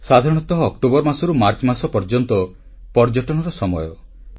ସାଧାରଣତଃ ଅକ୍ଟୋବର ମାସରୁ ମାର୍ଚ୍ଚ ମାସ ପର୍ଯ୍ୟନ୍ତ ପର୍ଯ୍ୟଟନର ସମୟ